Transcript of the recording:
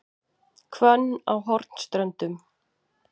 Hvönn á Hornströndum